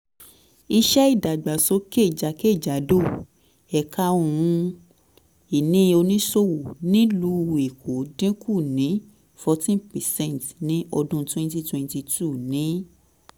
iṣẹ́ ìdàgbàsókè jákèjádò ẹ̀ka ohun-ini oníṣòwò nílùú èkó dín kù ní fourteen percent ní ọdún twenty twenty two ní